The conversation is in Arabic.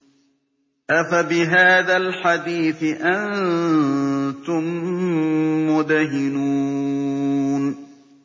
أَفَبِهَٰذَا الْحَدِيثِ أَنتُم مُّدْهِنُونَ